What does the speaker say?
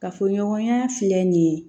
Kafoɲɔgɔnya filɛ nin ye